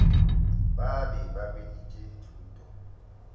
ba be ba hweditše thuto